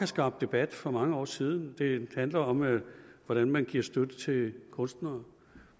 skabt debat for mange år siden det handler om hvordan man giver støtte til kunstnere